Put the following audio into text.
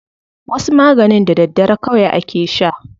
Wasu maganin da daddare kawai ake sha.